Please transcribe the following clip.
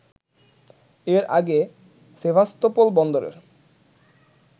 এর আগে সেভাস্তোপোল বন্দরের